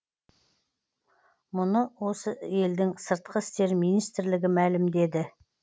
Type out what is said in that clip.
мұны осы елдің сыртқы істер министрлігі мәлімдеді